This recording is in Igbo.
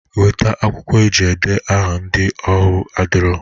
Weta akwụkwọ eji ede aha ndị ahụ adirọ!